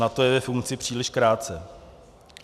Na to je ve funkci příliš krátce.